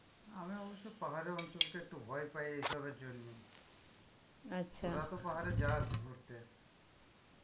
আমি অবশ্য পাহাড়ের অঞ্চলকে একটু ভয় পাই এইসবের জন্য তোরা তো পাহাড়ে যাস ঘুরতে.